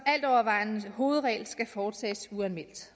altovervejende hovedregel skal foretages uanmeldt